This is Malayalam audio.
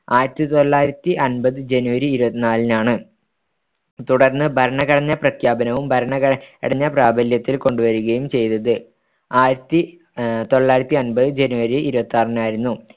ആയിരത്തിതൊള്ളായിരത്തിഅമ്പത് ജനുവരി ഇരുപത്തിനാലിനാണ് തുടർ‍ന്ന് ഭരണഘടനാ പ്രഖ്യാപനവും ഭരണഘടന പ്രാബല്യത്തിൽ കൊണ്ടുവരികയും ചെയ്‌തത്‌ ആയിരത്തിതൊള്ളായിരത്തിഅമ്പത് ജനുവരി ഇരുപത്തിയാറിനായിരുന്നു